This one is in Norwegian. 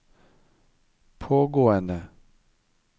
pågående